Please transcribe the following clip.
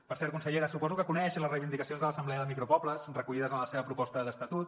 per cert consellera suposo que coneix les reivindicacions de l’assemblea de micro pobles recollides en la seva proposta d’estatut